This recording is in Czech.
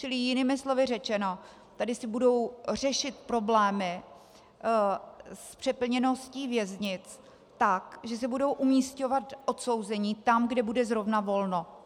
Čili jinými slovy řečeno, tady se budou řešit problémy s přeplněností věznic tak, že se budou umisťovat odsouzení tam, kde bude zrovna volno.